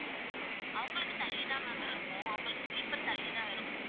அவங்களுக்கு தள்ளி தான் ma'am இருக்கும் அவங்களுக்கு sleeper தள்ளி தான் இருக்கும்